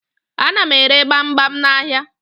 Ana m ere gbamgbam n'ahịa.